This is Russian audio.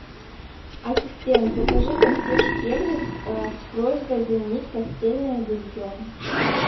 ассистент закажи консьерж сервис с просьбой заменить постельное белье